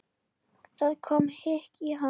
Það kom hik á hann.